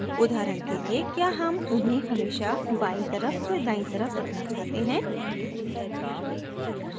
उदाहरण के लिए क्या हम उन्हें हमेशा बायीं तरफ या दायीं तरफ रखना चाहते हैं